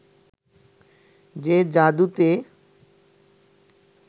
যে জাদুতে